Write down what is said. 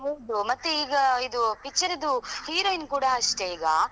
ಹೌದು ಮತ್ತೆ ಈಗ ಅದು picture ಇದ್ದು heroine ಕೂಡ ಅಷ್ಟೆ ಈಗ,